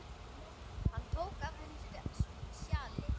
Hann tók af henni sjalið.